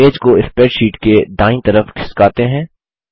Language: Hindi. इमेज को स्प्रैडशीट के दायीं तरफ खिसकाते हैं